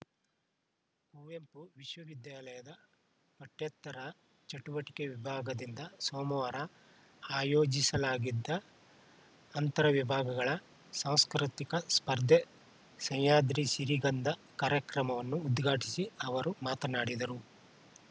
ಕುವೆಂಪು ವಿಶ್ವವಿದ್ಯಾಲಯದ ಪಠ್ಯೇತರ ಚಟುವಟಿಕೆ ವಿಭಾಗದಿಂದ ಸೋಮವಾರ ಆಯೋಜಿಲಾಗಿದ್ದ ಅಂತರ ವಿಭಾಗಗಳ ಸಾಂಸ್ಕೃತಿಕ ಸ್ಪರ್ಧೆ ಸಹ್ಯಾದ್ರಿ ಸಿರಿಗಂಧ ಕಾರ್ಯಕ್ರಮವನ್ನು ಉದ್ಘಾಟಿಸಿ ಅವರು ಮಾತನಾಡಿದರು